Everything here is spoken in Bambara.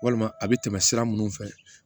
Walima a bɛ tɛmɛ sira minnu fɛ